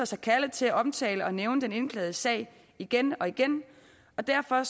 sig kaldet til at omtale og nævne den indklagede sag igen og igen og derfor